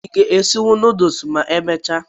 I ga esi nudulu ma emesia?